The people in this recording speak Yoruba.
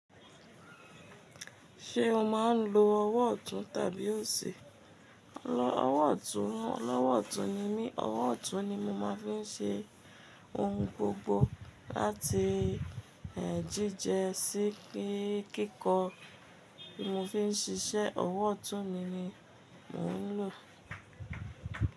Ṣé o máa ń lo ọwọ́ ọ̀tún tàbí òsì? Lọ ọwọ́ ọ̀tún, lọwọ́ ọ̀tún ni mí, ọwọ́ ọ̀tún ni mo máa ń fi ń ṣe ohun gbogbo láti, ehn, jíjẹ sí kíkọ, bí mo fi ń ṣiṣẹ́, ọwọ́ ọ̀tún mi ni mò ń lò.